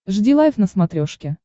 жди лайв на смотрешке